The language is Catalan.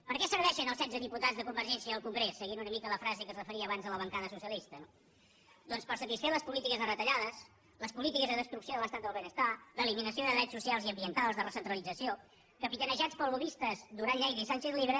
per a què serveixen els setze diputats de convergència al congrés seguint una mica la frase que es referia abans a la bancada socialista doncs per satisfer les polítiques de retallades les polítiques de destrucció de l’estat del benestar d’eliminació de drets socials i ambientals de recentralització capitanejats pels lobbistes duran lleida i sánchez llibre